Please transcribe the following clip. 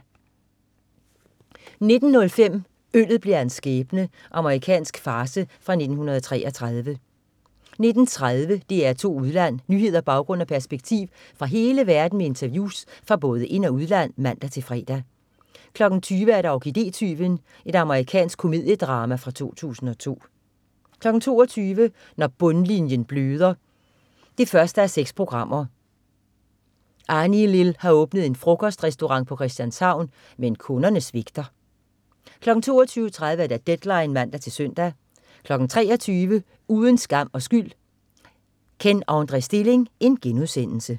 19.05 Øllet blev hans skæbne. Amerikansk farce fra 1933 19.30 DR2 Udland. Nyheder, baggrund og perspektiv fra hele verden med interviews fra både ind- og udland (man-fre) 20.00 Orkidé-tyven. Amerikansk komediedrama fra 2002 22.00 Når bundlinjen bløder 1:6. Annilil har åbnet en frokostrestaurant på Christianshavn, men kunderne svigter 22.30 Deadline (man-søn) 23.00 Uden skam og skyld: Kenn André Stilling*